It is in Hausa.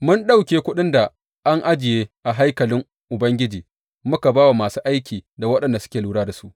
Mun ɗauke kuɗin da an ajiye a haikalin Ubangiji muka ba wa masu aiki da waɗanda suke lura da su.